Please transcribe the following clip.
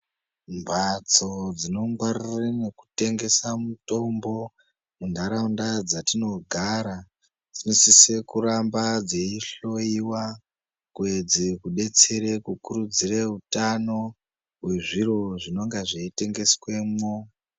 Mbatso dzinongwarirwa nekutengese mitombo munharaunda dzatinogara dzinosisa kuramba dzeihlowiwa kuedze kudetsere kukurudzirwa utano wezviro zvinonga zveitengeswemo.